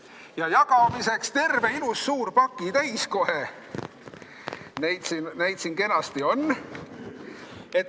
Ja jagamiseks on neid siin kenasti terve ilus suur pakitäis kohe.